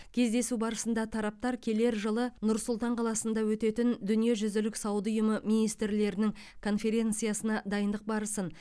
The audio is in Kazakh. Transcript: кездесу барысында тараптар келер жылы нұр сұлтан қаласында өтетін дүниежүзілік сауда ұйымы министрлерінің конференциясына дайындық барысын